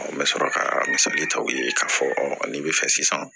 N bɛ sɔrɔ ka misali ta u ye k'a fɔ n'i bɛ fɛ sisan